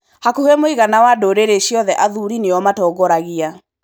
Hakuhĩ mũigana wa ndũrĩrĩ ciothe athuri nĩo matongoragia.